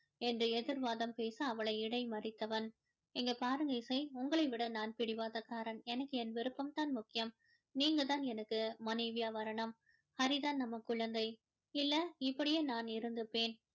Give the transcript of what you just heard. என்று எதிர்வாதம் பேச அவளை இடைமறித்தவன் இங்க பாருங்க இசை உங்களை விட நான் பிடிவாத காரன் எனக்கு என் விருப்பம் தான் முக்கியம் நீங்கதான் எனக்கு மனைவியா வரணும் ஹரி தான் நம்ம குழந்தை இல்ல இப்படியே நான் இருந்துப்பேன்